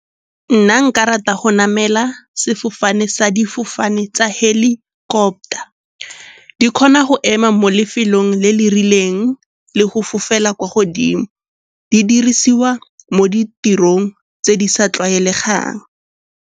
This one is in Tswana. Nna nka rata go namela sefofane sa difofane tsa helicopter. Di kgona go ema mo lefelong le le rileng le go fofela kwa godimo. Di dirisiwa mo ditirong tse di sa tlwaelegang.